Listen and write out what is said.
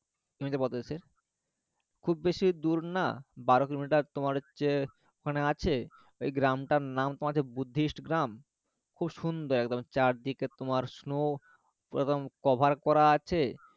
খুব বেশি দূর না বারো কিলোমিটার তোমার হচ্ছে ওখানে আছে ওই গ্রামটার নাম তোমার বুদ্ধিস্ট গ্রাম খুব সুন্দর একদম চারদিকে তোমার snow পুরো একদম কভার করা আছে